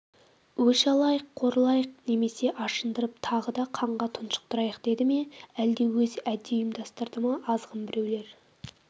өш алайық қорлайық немесе ашындырып тағы да қанға тұншықтырайық деді ме әлде өзі әдейі ұйымдастырды ма азғын біреулер